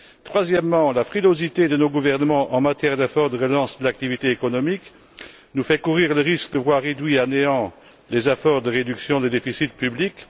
Troisièmement, la frilosité de nos gouvernements en matière d'efforts de relance de l'activité économique nous fait courir le risque de voir réduits à néant les efforts de réduction des déficits publics.